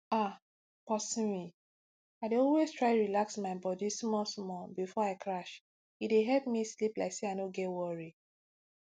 ah pauseme i dey always try relax my body smallsmall before i crash e dey help me sleep like say i no get worry